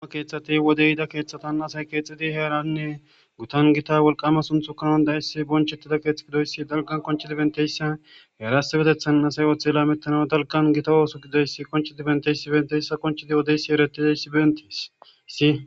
oge keeththati wodeyida keeththatan asay keexidi heeranne gutan gita wolqama sunthu kanon dayessi bonchettida keethx gidoyssi dalgan konchidibenteyssa heerasebetethan asay ooththela metano dalgan gita ooso gidoyssi konchi dibenteysi benteyssa konchidi wodeysi eretideyssi bentiis si